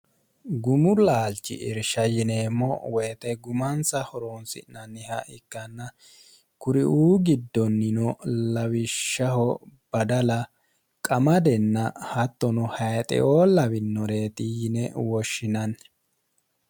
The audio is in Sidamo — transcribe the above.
gumu laalchi irsha yineemmo woyite gumansa horoonsi'nanniha ikkanna kuriuu giddonnino lawishshaho badala qamadenna hattono hayixeoo lawinoreeti yine woshshinanni